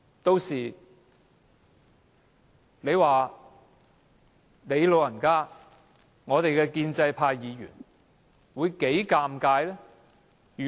屆時你"老人家"及建制派議員會多麼尷尬。